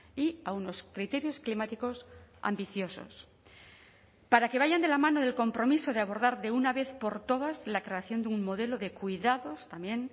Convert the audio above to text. y a unos criterios climáticos ambiciosos para que vayan de la mano del compromiso de abordar de una vez por todas la creación de un modelo de cuidados también